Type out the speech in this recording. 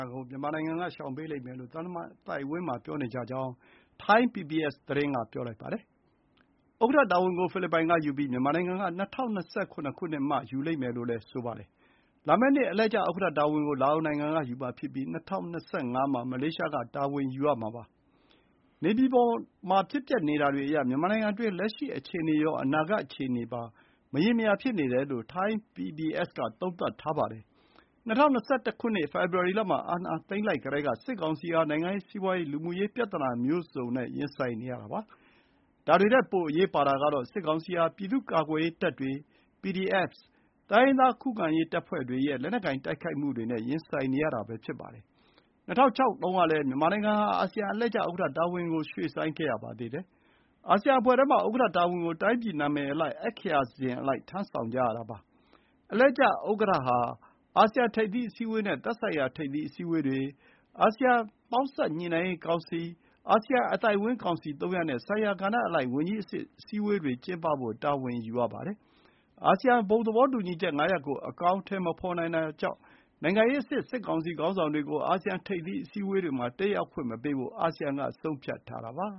ာကို မြန်မာနိုင်ငံက ရှောင်ပေးလိမ့်မယ်လို့ သံတမန်အသိုက်အဝန်းမှာ ပြောနေကြကြောင်း ထိုင်း PBS သတင်း က ဆိုပါတယ်။ ဥက္ကဋ္ဌတာဝန်ကို ဖိလစ်ပိုင်ကယူပြီး မြန်မာနိုင်ငံက ၂၀၂၇ ခုနှစ်မှ ယူမယ်လို့လည်း ဆိုပါတယ်။ လာမယ့်နှစ် အလှည့်ကျဥက္ကဋ္ဌတာဝန်ကို လာအိုနိုင်ငံ က ယူမှာဖြစ်ပြီး ၂၀၂၅ မှာ မလေးရှားက တာဝန်ယူရမှာပါ။ နေပြည်တော်မှာ ဖြစ်ပျက်နေတာတွေအရ မြန်မာနိုင်ငံတွင်း လက်ရှိ အခြေအနေရော အနာဂတ် အခြေအနေပါ မရေမရာ ဖြစ်နေပါတယ်။ ၂၀၂၁ ခုနှစ် ဖေဖော်ဝါရီ လမှာ အာဏာသိမ်းလိုက်တတည်းက စစ်ကောင်စီဟာ နိုင်ငံရေး၊ စီးပွါးရေး၊ လူမှုရေးပြဿနာမျိုးစုံနဲ့ ရင်ဆိုင်နေရတာ ဖြစ်ပါတယ်။ ဒါတွေထက် ပို အရေးပါတာကတော့ စစ်ကောင်စီဟာ ပြည်သူ့ကာကွယ်ရေး တပ်တွေ (PDFs)၊ တိုင်းရင်းသား ခုခံရေးတပ်ဖွဲ့တွေရဲ့ လက်နက်ကိုင်တိုက်ခိုက်မှုတွေနဲ့ ရင်ဆိုင်နေရပါတယ်။ ၂၀၀၆ တုန်းကလည်း မြန်မာနိုင်ငံဟာ အာဆီယံအလှည့်ကျဥက္ကဋ္ဌတာဝန်ကို ရွှေ့ဆိုင်းခဲ့ရပါသေးတယ်။ အာဆီယံအဖွဲ့ထဲမှာ ဥက္ကဋ္ဌတာဝန်ကို တိုင်းပြည် နာမည် အင်္ဂလိပ်အက္ခရာစဥ်အလိုက် ထမ်းဆောင်ကြရတာပါ။ အလှည့်ကျ ဥက္ကဋ္ဌ ဟာ အာဆီယံထိပ်သီးအစည်းအဝေးနဲ့ သက်ဆိုင်ရာ ထိပ်သီးအစည်းအဝေးတွေ၊ အာဆီယံပေါင်းစပ်ညှိနှိုင်းရေးကောင်စီ၊ အာဆီယံအသိုက်အဝန်း ကောင်စီ သုံးရပ် နဲ့ဆိုင်ရာကဏ္ဍအလိုက် ဝန်ကြီးအဆင့်အစည်းအဝေးတွေကျင်းပဖို့ တာဝန်ယူရပါတယ်။ အာဆီယံဘုံသဘောတူညီချက်ငါးရပ်ကို အကောင်အထည်မဖော်နိုင်တာကြောင့် စစ်ကောင်စီခေါင်းဆောင်တွေကို နိုင်ငံရေးအဆင့် အာဆီယံထိပ်သီး အစည်းအဝေးတွေမှာ တက်ရောက်ခွင့်မပေးဖို့ အာဆီယံက ဆုံးဖြတ်ထားတာပါ